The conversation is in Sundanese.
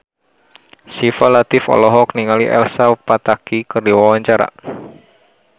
Syifa Latief olohok ningali Elsa Pataky keur diwawancara